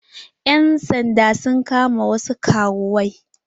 Ƴan sanda sun kama wasu karuwai.